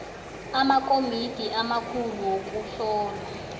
amakomiti amakhulu wokuhlolwa